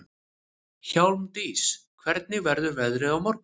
Hjálmdís, hvernig verður veðrið á morgun?